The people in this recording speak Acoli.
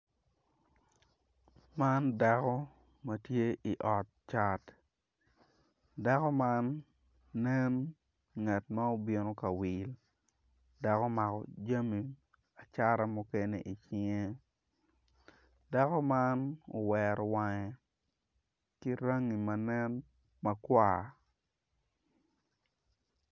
Man dako matye i ot cat dako man nen ngat ma obino kawil dok omako jami acata mukene i cinge dako man owero wange ki rangi ma nen makwar.